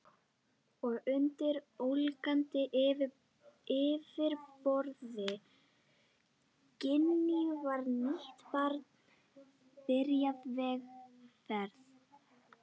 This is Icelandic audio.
Og undir ólgandi yfirborði Gínu var nýtt barn byrjað vegferð.